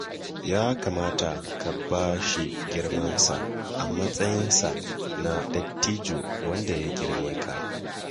Ya kamata ka ba shi girmansa a matsayinsa na dattijo wanda ya girme ka